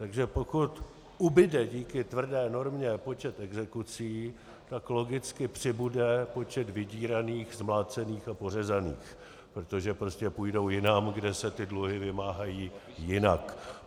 Takže pokud ubude díky tvrdé normě počet exekucí, tak logicky přibude počet vydíraných, zmlácených a pořezaných, protože prostě půjdou jinam, kde se ty dluhy vymáhají jinak.